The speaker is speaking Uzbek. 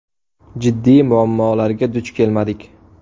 Jiddiy muammolarga duch kelmadik.